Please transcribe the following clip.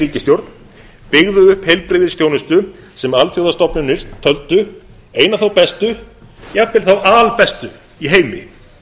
ríkisstjórn byggðu upp heilbrigðisþjónustu sem alþjóðastofnanir töldu eina þá bestu jafnvel þá albestu í heimi